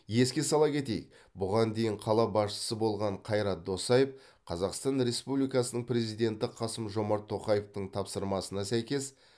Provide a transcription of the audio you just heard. еске сала кетейік бұған дейін қала басшысы болған қайрат досаев қазақстан республикасының президенті қасым жомарт тоқаевтың тапсырмасына сәйкес